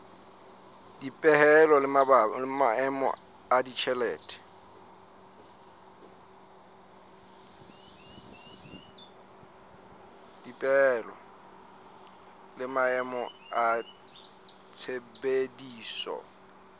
dipehelo le maemo a tshebediso